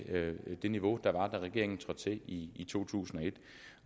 det niveau der var da regeringen trådte til i to tusind og et